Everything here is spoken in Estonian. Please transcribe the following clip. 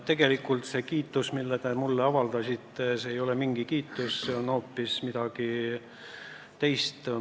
Tegelikult see kiitus, mille te mulle avaldasite, see ei ole mingi kiitus, see on hoopis midagi muud.